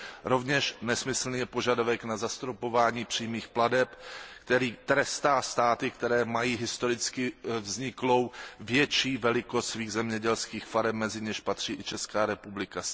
Rovněž nesmyslný je požadavek na zastropování přímých plateb, který trestá státy, které mají historicky vzniklou větší velikost svých zemědělských farem, mezi něž patří i Česká republika.